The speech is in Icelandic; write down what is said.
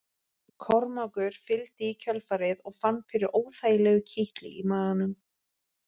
Kormákur fylgdi í kjölfarið og fann fyrir óþægilegu kitli í maganum.